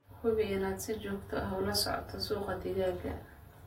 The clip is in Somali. Hubi inaad si joogto ah ula socoto suuqa digaaga.